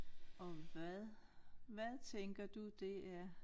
Og hvad hvad tænker du det er?